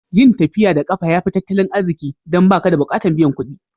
Yin tafiya da kafa ya fi tattalin arziki dan ba ka bukatan biyan kuɗi.